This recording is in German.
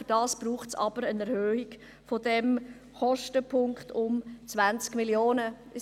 Dazu ist aber eine Erhöhung dieses Kostenpunktes um 20 Mio. Franken notwendig.